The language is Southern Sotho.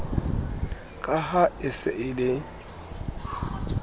ka e se e le